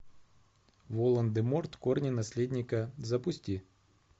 волан де морт корни наследника запусти